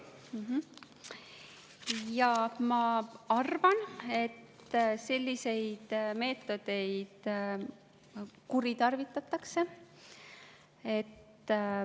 Jaa, ma arvan, et selliseid meetodeid kuritarvitatakse.